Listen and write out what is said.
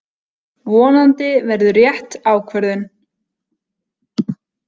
Vonandi verður rétt ákvörðun